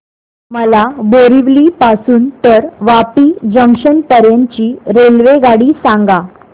मला बोरिवली पासून तर वापी जंक्शन पर्यंत ची रेल्वेगाडी सांगा